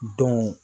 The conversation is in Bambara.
Don